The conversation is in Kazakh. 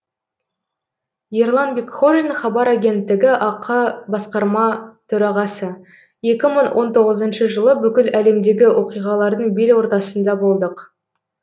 ерлан бекхожин хабар агенттігі ақ басқарма төрағасы екі мың он тоғызыншы жылы бүкіл әлемдегі оқиғалардың бел ортасында болдық